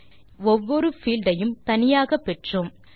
மேலும் நாம் ஒவ்வொரு பீல்ட் ஐயும்தனியாக பெற்றோம்